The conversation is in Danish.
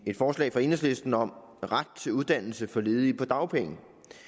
et forslag fra enhedslisten om ret til uddannelse for ledige på dagpenge